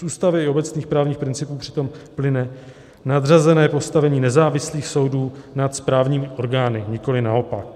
Z Ústavy i obecných právních principů přitom plyne nadřazené postavení nezávislých soudů nad správními orgány, nikoliv naopak.